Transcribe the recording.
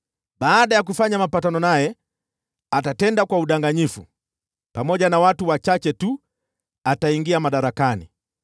Baada ya kufanya mapatano naye, atatenda kwa udanganyifu, na akitumia watu wachache tu ataingia madarakani.